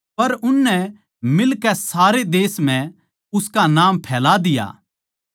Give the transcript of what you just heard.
पर उननै मिलकै सारे देश म्ह उसका नाम फैला दिया